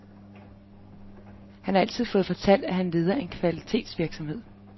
Han har altid fået fortalt, at han leder en kvalitetsvirksomhed.